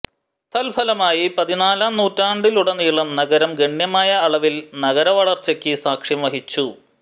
തൽഫലമായി പതിനാലാം നൂറ്റാണ്ടിലുടനീളം നഗരം ഗണ്യമായ അളവിൽ നഗരവളർച്ചയ്ക്ക് സാക്ഷ്യം വഹിച്ചു